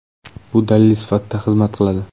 Bu dalil sifatida xizmat qiladi.